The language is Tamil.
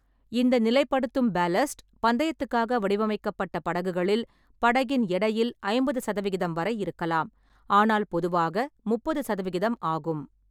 இந்த நிலைப்படுத்தும் பால்லாஸ்ட், பந்தயத்துக்காக வடிவமைக்கப்பட்ட படகுகளில், படகின் எடையில் ஐம்பது சதவிகிதம் வரை இருக்கலாம், ஆனால் பொதுவாக முப்பது சதவிகிதம் ஆகும்.